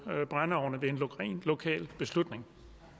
brændeovne det er en ren lokal beslutning